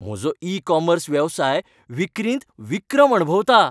म्हजो e commerce वेवसाय विक्रींत विक्रम अणभवता.